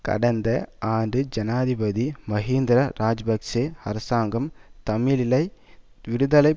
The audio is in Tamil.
கடந்த ஆண்டு ஜனாதிபதி மஹிந்தர இராஜபக்ஷ அரசாங்கம் தமிழிலை விடுதலை